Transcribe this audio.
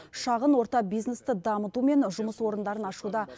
шағын орта бизнесті дамыту мен жұмыс орындарын ашуда